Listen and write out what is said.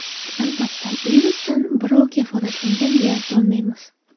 Albatta, virusdan birov kafolatlangan deb ayta olmaymiz.